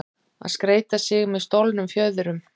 Að skreyta sig með stolnum fjöðrum